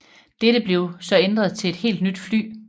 Dette blev så ændret til et helt nyt fly